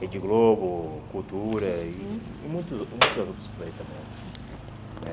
Rede Globo, Cultura e e muitos muitos outros por aí também, né?